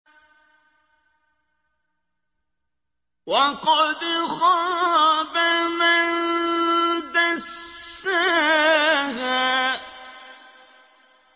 وَقَدْ خَابَ مَن دَسَّاهَا